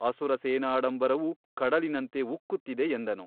ಅಸುರ ಸೇನಾಡಂಬರವು ಕಡಲಿನಂತೆ ಉಕ್ಕುತ್ತಿದೆ ಎಂದನು.